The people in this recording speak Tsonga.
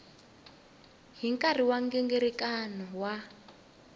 hi nkarhi wa nghingiriko wa